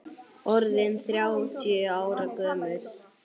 Orðinn þrjátíu ára gömul.